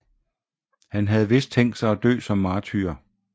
Han havde vist tænkt sig at dø som martyr